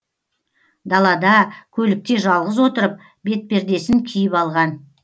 далада көлікте жалғыз отырып бетпердесін киіп алған